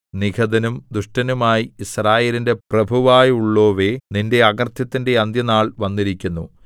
നിഹതനും ദുഷ്ടനുമായി യിസ്രായേലിന്റെ പ്രഭുവായുള്ളോവേ നിന്റെ അകൃത്യത്തിന്റെ അന്ത്യനാൾ വന്നിരിക്കുന്നു